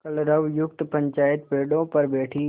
कलरवयुक्त पंचायत पेड़ों पर बैठी